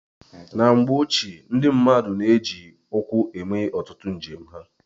Na mgbe ochie, ndị mmadụ na-eji ụkwụ eme ọtụtụ njem ha.